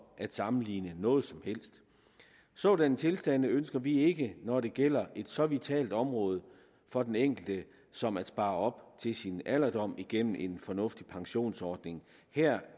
at sammenligne noget som helst sådanne tilstande ønsker vi ikke når det gælder et så vitalt område for den enkelte som at spare op til sin alderdom igennem en fornuftig pensionsordning her